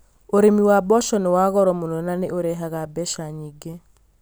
Ũrĩmi wa mboco nĩ wa goro mũno no nĩ ũrehaga mbeca nyingĩ